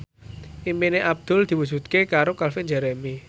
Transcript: impine Abdul diwujudke karo Calvin Jeremy